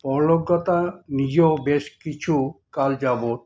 পরোলোকগতা নিজেও বেশ কিছু কাল যাবৎ